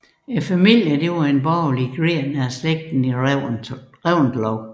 Familien var en borgerlig gren af slægten Reventlow